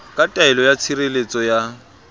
ka taelo ya tshireletso ya